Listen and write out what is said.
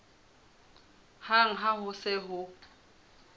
hang ha ho se ho